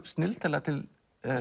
snilldarlega til